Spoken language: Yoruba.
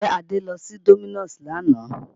Ǹjẹ́ Adé lọ sí Domino's lánàá?